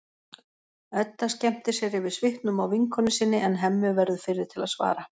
Edda skemmtir sér yfir svipnum á vinkonu sinni en Hemmi verður fyrri til að svara.